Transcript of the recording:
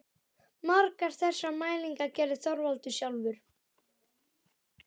Margar þessara mælinga gerði Þorvaldur sjálfur.